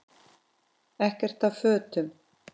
Ekkert af fötum